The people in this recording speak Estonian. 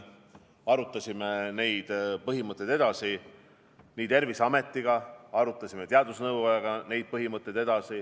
Me arutasime neid põhimõtteid edasi nii Terviseameti kui teadusnõukojaga.